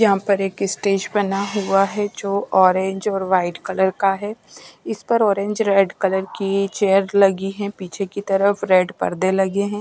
यहाँ पर एक स्टेज बना हुआ है जो ऑरेंज और व्हाईट कलर का है इस पर ऑरेंज रेड कलर की चेयर लगी है पीछे की तरफ रेड पर्दे लगे हैं।